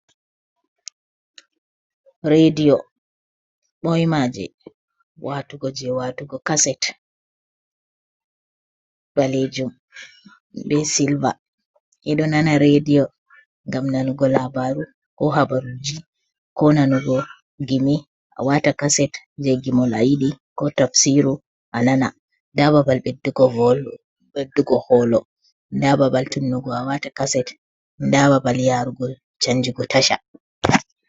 Radiyo ɓoima je watugo je watugo kaset balejum be silva, ɓe ɗo nana rediyo gam nanugo labaru ko habaruji ko nanugo gimi a wata kaset je gimolji ko tafsiru a nana nda babal ɓeddugo holo da babal tunnugo a wata kaset da babal yarugo chanjugo tasha